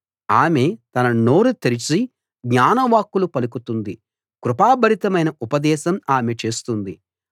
ఆమె తన నోరు తెరిచి జ్ఞాన వాక్కులు పలుకుతుంది కృపా భరితమైన ఉపదేశం ఆమె చేస్తుంది